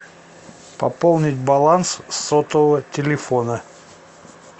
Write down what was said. пополнить баланс сотового телефона